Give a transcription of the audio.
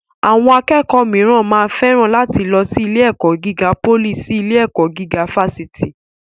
Àwọn akẹ́kọ̀ọ́ mìíràn máa féràn láti lọ sí ilé-ẹ̀kọ́ gíga pólì sí ilé-ẹ̀kọ́ gíga fásitì.